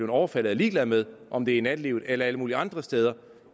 overfaldet er ligeglade med om det i nattelivet eller alle mulige andre steder